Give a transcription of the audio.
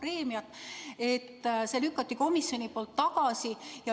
Selle lükkas komisjon tagasi.